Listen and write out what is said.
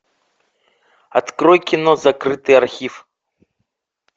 открой кино закрытый архив